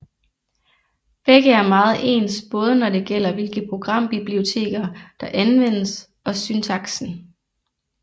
Begge er meget ens både når det gælder hvilke programbiblioteker der anvendes og syntaksen